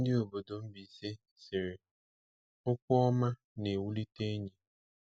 Ndị obodo Mbaise sịrị: “Okwu ọma na-ewulite enyi.”